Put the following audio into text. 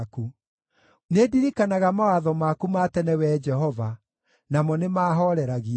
Nĩndirikanaga mawatho maku ma tene, Wee Jehova, namo nĩmahooreragia.